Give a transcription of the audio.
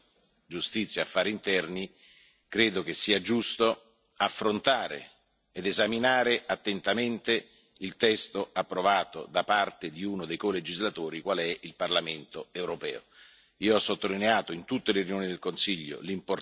Dopo i risultati dell'ultimo Consiglio Giustizia e Affari interni, credo che sia giusto affrontare ed esaminare attentamente il testo approvato da parte di uno dei colegislatori qual è il Parlamento europeo.